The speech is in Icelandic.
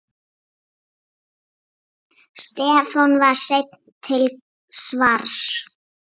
Stefán var seinn til svars.